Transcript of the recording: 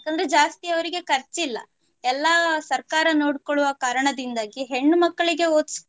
ಯಾಕಂದ್ರೆ ಜಾಸ್ತಿ ಅವರಿಗೆ ಕರ್ಚಿಲ್ಲ. ಎಲ್ಲಾ ಸರಕಾರ ನೋಡ್ಕೊಳ್ಳುವ ಕಾರಣದಿಂದಾಗಿ ಹೆಣ್ಣು ಮಕ್ಕಳಿಗೆ ಓದ್ಸ್~